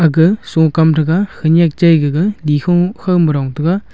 aga sokam threga khanyek chai gaga nyikho khaw ma rong taiga.